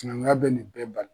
Maninga bɛ nin bɛɛ bali.